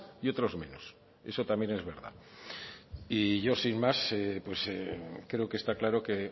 y otros menos eso también es verdad y yo sin más pues creo que está claro que